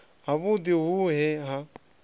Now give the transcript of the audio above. ha vhudi hu ne ha